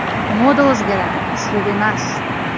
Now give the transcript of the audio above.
Moda o‘zgaradi uslub emas.